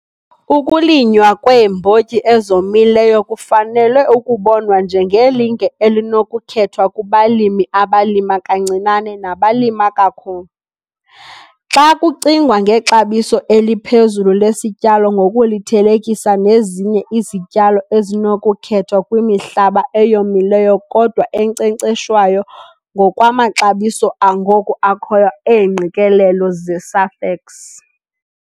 Ukulinywa kweembotyi ezomileyo kufanele ukubonwa njengelinge elinokukhethwa kubalimi abalima kancinane nabalima kakhulu, xa kucingwa ngexabiso eliphezulu lesityalo ngokulithelekisa nezinye izityalo ezinokukhethwa kwimihlaba eyomileyo kodwa enkcenkceshwayo ngokwamaxabiso angoku akhoyo eengqikelelo zeSafex.